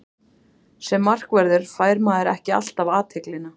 Sem markvörður fær maður ekki alltaf athyglina.